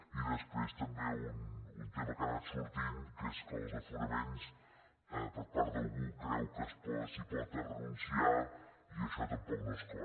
i després també un tema que ha anat sortint que és que els aforaments per part d’algú creu que s’hi pot renunciar i això tampoc no és clar